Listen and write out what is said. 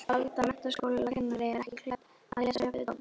Alda menntaskólakennari ekki klædd að lesa uppvið dogg.